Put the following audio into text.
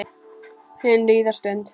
Hin líðandi stund.